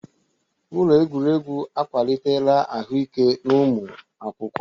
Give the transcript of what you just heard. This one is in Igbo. Ụlọ egwuregwu akwalitela ahụike n'ụmụ akwụkwọ.